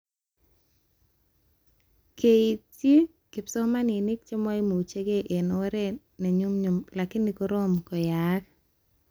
Keitchiny kipsomanink chemaimuchke eng oret nenyunyum lakini korom koyayak